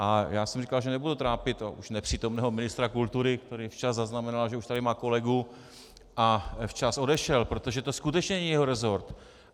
A já jsem říkal, že nebudu trápit už nepřítomného ministra kultury, který včas zaznamenal, že už tady má kolegu, a včas odešel, protože to skutečně není jeho resort.